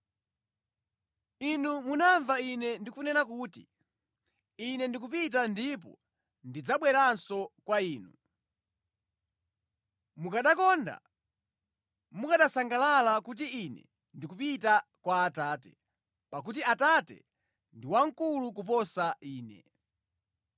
“Inu munamva Ine ndikunena kuti, ‘Ine ndikupita ndipo ndidzabweranso kwa inu.’ Mukanandikonda, mukanasangalala kuti Ine ndikupita kwa Atate, pakuti Atate ndi wamkulu kuposa Ine.